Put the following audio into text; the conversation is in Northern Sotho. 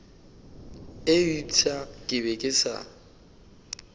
eupša ke be ke sa